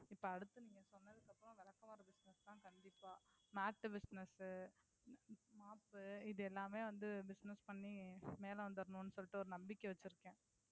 இப்ப அடுத்து நீங்க சொன்னதுக்கு அப்புறம் விளக்குமாறு business தான் கண்டிப்பா mat business mop இது எல்லாமே business பண்ணி மேல வந்திரனும்னு சொல்லிட்டு ஒரு நம்பிக்கை வச்சிருக்கேன்.